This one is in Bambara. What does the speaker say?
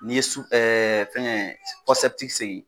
N'i ye su fɛngɛ sen